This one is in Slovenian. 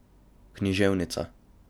Književnica.